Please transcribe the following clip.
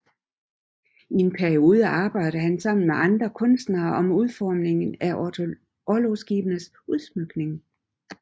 I en periode arbejdede han sammen med andre kunstnere om udformningen af orlogsskibenes udsmykning